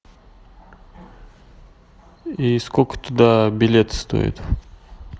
и сколько туда билет стоит